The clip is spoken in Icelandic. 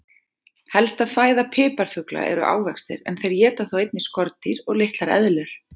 Helsta fæða piparfugla eru ávextir en þeir éta þó einnig skordýr og litlar eðlur.